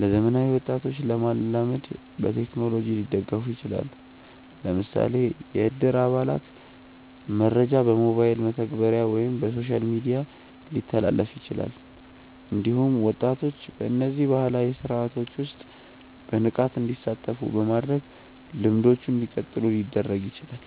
ለዘመናዊ ወጣቶች ለመላመድ በቴክኖሎጂ ሊደገፉ ይችላሉ። ለምሳሌ የእድር አባላት መረጃ በሞባይል መተግበሪያ ወይም በሶሻል ሚዲያ ሊተላለፍ ይችላል። እንዲሁም ወጣቶች በእነዚህ ባህላዊ ስርዓቶች ውስጥ በንቃት እንዲሳተፉ በማድረግ ልምዶቹ እንዲቀጥሉ ሊደረግ ይችላል።